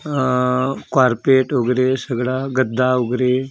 अ अ कॉरपेट उग्रे सगळा गद्दा उग्रे .